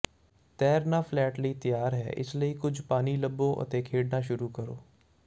ਤੈਰਣਾ flat ਲਈ ਤਿਆਰ ਹੈ ਇਸ ਲਈ ਕੁਝ ਪਾਣੀ ਲੱਭੋ ਅਤੇ ਖੇਡਣਾ ਸ਼ੁਰੂ ਕਰੋ